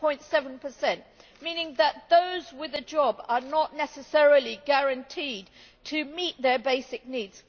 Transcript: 0.7, meaning that those with a job are not necessarily guaranteed to meet their basic needs.